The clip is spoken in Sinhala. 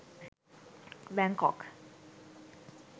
Bangkok